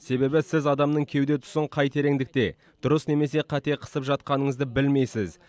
себебі сіз адамның кеуде тұсын қай тереңдікте дұрыс немесе қате қысып жатқаныңызды білмейсіз